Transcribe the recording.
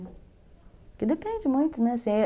Porque depende muito, né?